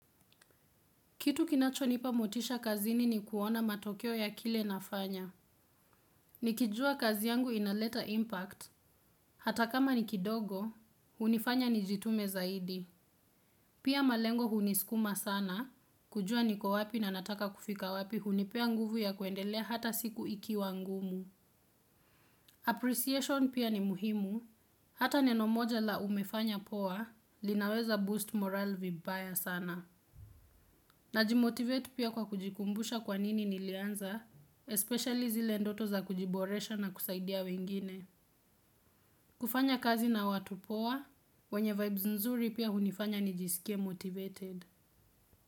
Kitu kinacho nipa motisha kazini ni kuona matokeo ya kile nafanya. Nikijua kazi yangu inaleta impact. Hata kama ni kidogo, hunifanya nijitume zaidi. Pia malengo hunisukuma sana, kujua niko wapi na nataka kufika wapi, hunipea nguvu ya kuendelea hata siku ikiwa ngumu. Appreciation pia ni muhimu, hata neno moja la umefanya poa, linaweza boost morali vibaya sana. Na jimotivate pia kwa kujikumbusha kwanini nilianza, Especially zile ndoto za kujiboresha na kusaidia wengine. Kufanya kazi na watu poa wenye vibes nzuri pia hunifanya nijisikie motivated.